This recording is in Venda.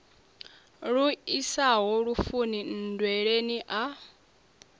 lu isaho lufuni nndweleni a